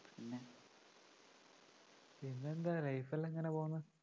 പിന്നെന്താ life എല്ലാം എങ്ങനെ പോവുന്നു